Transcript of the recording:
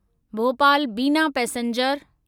Bhopal Bina passenger